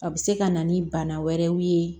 A bɛ se ka na ni bana wɛrɛw ye